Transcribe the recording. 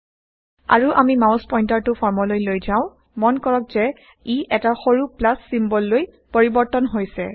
আৰু আমি মাউছ পইন্টাৰটো ফৰ্মলৈ লৈ যাও মন কৰক যে ই এটা সৰু প্লাছ ছিম্বললৈ পৰিবৰ্তন160 হৈছে